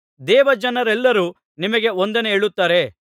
ದೇವಜನರೆಲ್ಲರೂ ನಿಮಗೆ ವಂದನೆ ಹೇಳುತ್ತಾರೆ